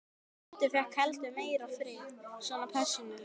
Dundi fékk heldur meiri frið, svona persónulega.